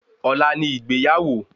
Ọlá ni ìgbéyàwó